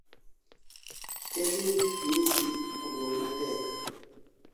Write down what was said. Kevin Hamisi obuok matek